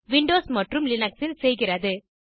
Windows மற்றும் Linux இல் செய்கிறது